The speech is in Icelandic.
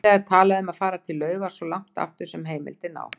Víða er talað um að fara til laugar svo langt aftur sem heimildir ná.